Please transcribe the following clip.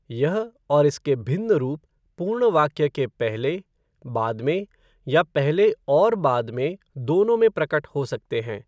यह, और इसके भिन्न रूप, पूर्ण वाक्य के पहले, बाद में या पहले और बाद में दोनों में प्रकट हो सकते हैं।